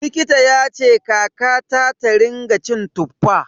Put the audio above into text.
Likita yace kakata ta rinƙa cin Tuffa.